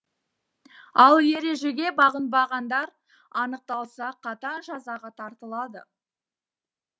ал ережеге бағынбағандар анықталса қатаң жазаға тартылады